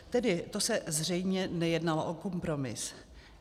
Tedy to se zřejmě nejednalo o kompromis.